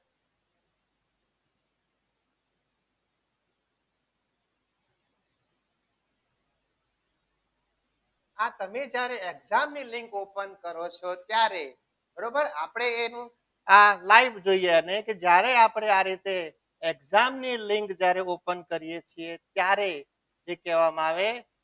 આ તમે જ્યારે exam ની લીંક open કરો છો ત્યારે બરોબર આપણે એ આ live જોઈ રહ્યા અને જ્યારે આપણે આ રીતે exam ની લીંક જ્યારે open કરીએ છીએ ત્યારે જે કહેવામાં આવે.